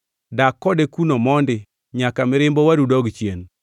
Dak kode kuno mondi nyaka mirimb owadu dog chien.